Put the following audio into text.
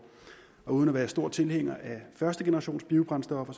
uden at være stor tilhænger af førstegenerationsbiobrændstoffer